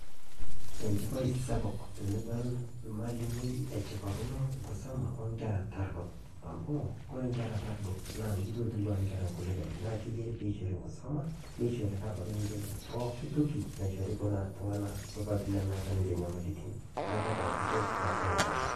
Echipai sapuk tinidool mwalimu achipakino nkisoma o nkerra taaridoo ,amu kore nkerra taardo naa ketua nkulikai . Naa keyaari pee ishoori nkisoma neishori sii tooki ninchee pooki tooki naishori kuna ltung'ana pooki nemeeta ninchee nyamalitin. Naa kadol ajo keshipaa pooki.